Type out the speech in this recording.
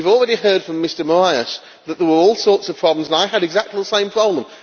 We have already heard from Mr Moraes that there were all sorts of problems and I had exactly the same problem.